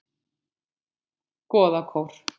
Goðakór